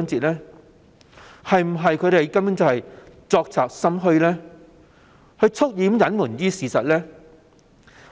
他們是否作賊心虛，蓄意隱瞞事實，